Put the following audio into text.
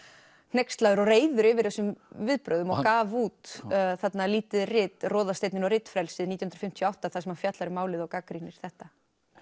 hneykslaður og reiður yfir þessum viðbrögðum og hann gaf út lítið rit Roðasteinninn og ritfrelsið nítján hundruð fimmtíu og átta þar sem hann fjallar um málið og gagnrýnir þetta